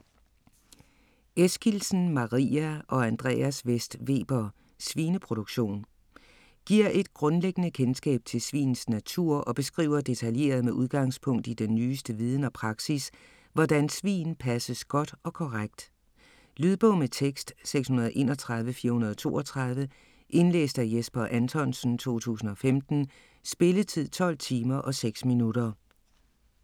Eskildsen, Maria og Andreas Vest Weber: Svineproduktion Giver et grundlæggende kendskab til svins natur og beskriver detaljeret med udgangspunkt i den nyeste viden og praksis, hvordan svin passes godt og korrekt. Lydbog med tekst 631432 Indlæst af Jesper Anthonsen, 2015. Spilletid: 12 timer, 6 minutter.